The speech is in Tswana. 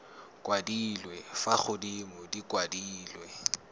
kwadilwe fa godimo di kwadilwe